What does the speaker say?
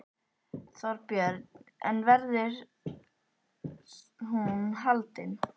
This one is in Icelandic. Þorbjörn: En verður hún haldin?